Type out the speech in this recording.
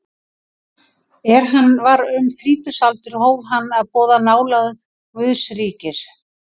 Er hann var um þrítugsaldur hóf hann að boða nálægð Guðs ríkis.